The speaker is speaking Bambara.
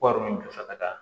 Wari min nɔfɛ ka taa